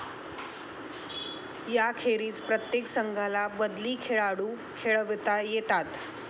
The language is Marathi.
यांखेरीज प्रत्येक संघाला बदली खेळाडू खेळवता येतात.